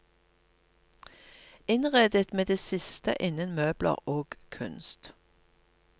Innredet med det siste innen møbler og kunst.